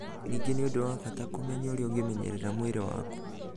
Ningĩ nĩ ũndũ wa bata kũmenya ũrĩa ũngĩmenyerera mwĩrĩ waku.